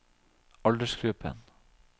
aldersgruppen